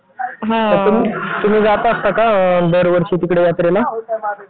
तर तुम्ही जात असता का दरवर्षी तिकडे यात्रेला?